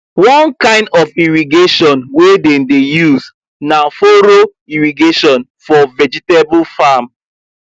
one kind of irrigation wey dem dey use na furrow irrigation for vegetable farm